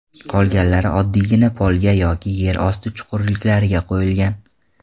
Qolganlari oddiygina polga yoki yer osti chuqurliklariga qo‘yilgan.